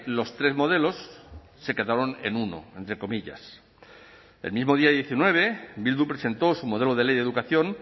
los tres modelos se quedaron en uno entre comillas el mismo día diecinueve bildu presentó su modelo de ley de educación